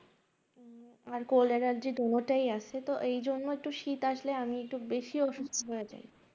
আর cold allergy দোনো টায় আছে তো এজন্য একটু শীত আসলে আমি একটু বেশি অসুস্থ হয়ে যাই